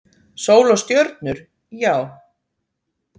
Sól og stjörnur, já.